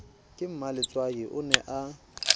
ka mmaletswai o ne a